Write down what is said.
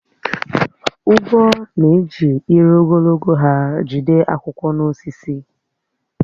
Ugwo na-eji ire ogologo ha jide akwụkwọ n’osisi.